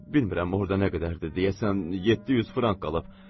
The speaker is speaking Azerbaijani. Bilirəm orda nə qədərdir, deyəsən 700 frank qalıb.